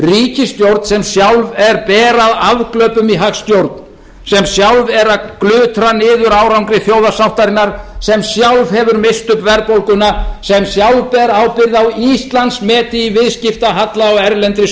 ríkisstjórn sem sjálf er ber að afglöpum í hagstjórn sem sjálf er að glutra niður árangri þjóðarsáttarinnar sem sjálf hefur misst upp verðbólguna sem sjálf ber ábyrgð á íslandsmeti í viðskiptahalla og erlendri